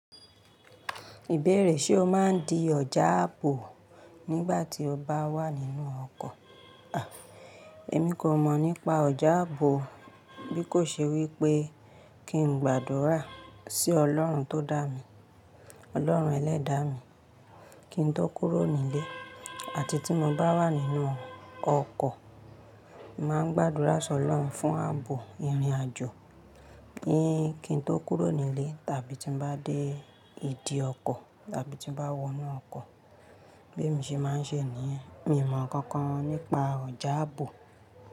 Ìbéèrè ṣe o máa ń di ọjà ààbò nígbà tí o bá wà nínú ọkọ̀? À, èmi kò mọ̀ nípa ọjà ààbò, bí kò ṣe wípé kí n gbàdúrà sí Ọlọ́run tó dá mi, Ọlọ́run ẹlẹ́dàá mi, kí n tó kúrò nílé àti tí mo bá wà nínú ọkọ̀, màá ń gbàdúrà sọ̀rọ̀ fún ààbò ìrìnàjò. Kí n tó kúrò nílé tàbí tí mo bá dé ìdí ọkọ̀ tàbí tí mo bá wọ inú ọkọ̀, Bi emi ṣe máa ń ṣe níyẹn. Mi ò mọ̀ ǹkankan nípa ọjà ààbò.